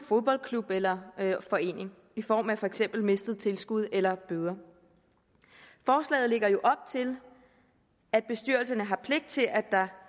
klub eller forening i form af for eksempel mistet tilskud eller bøder forslaget lægger jo op til at bestyrelserne har pligt til at der